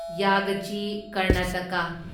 ꯌꯥꯒꯆꯤ Karnataka